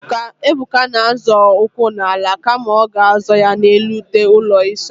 Ebuka na-azọ ụkwụ n'ala kama ọ ga-azọ ya n'elu ute ụlọ ịsa ahụ.